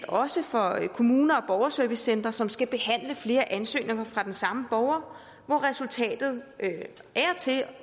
også for kommuner og borgerservicecentre som skal behandle flere ansøgninger fra den samme borger hvor resultatet